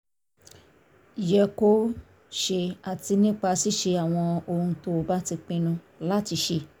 yẹ kó ṣe àti nípa ṣíṣe àwọn ohun tó bá ti pinnu láti ṣe